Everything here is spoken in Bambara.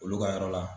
Olu ka yɔrɔ la